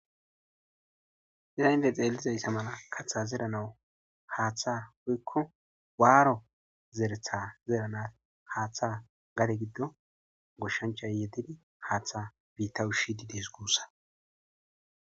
Hinitte xelizayissa malla katha zeranawu hatha woyikko warro zeretha zeranawu hatha gadde giddo goshanichayi yedidi hatha ushishe desikko